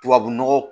Tubabu nɔgɔ